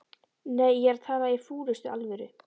Nei, ég er að tala í fúlustu alvöru